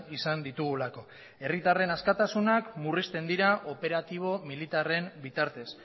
izan ditugulako herritarren askatasunak murrizten dira operatibo militarren bitartez